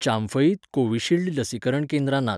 चांफईत Covishield लसीकरण केंद्रां नात.